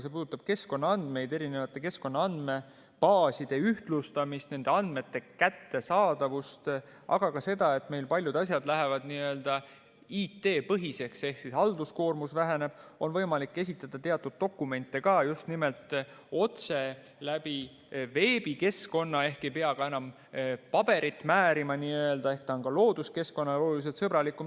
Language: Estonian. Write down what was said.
See puudutab keskkonnaandmeid, erinevate keskkonnaandmebaaside ühtlustamist, nende andmete kättesaadavust, aga ka seda, et meil paljud asjad lähevad n-ö IT-põhiseks ehk siis halduskoormus väheneb, on võimalik esitada teatud dokumente otse veebikeskkonna kaudu ehk ei pea enam n‑ö paberit määrima, seega ta on looduskeskkonnale oluliselt sõbralikum.